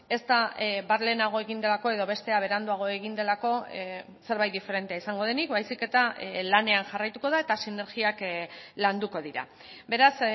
ez da bat lehenago egin delako edo bestea beranduago egin delako zerbait diferentea izango denik baizik eta lanean jarraituko da eta sinergiak landuko dira beraz